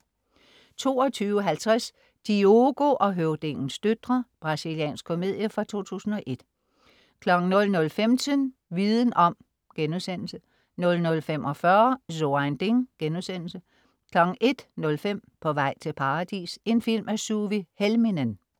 22.50 Diogo og høvdingens døtre. Brasiliansk komedie fra 2001 00.15 Viden om* 00.45 So ein Ding* 01.05 På vej til Paradis. En film af Suvi Helminen